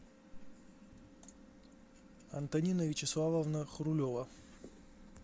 антонина вячеславовна хрулева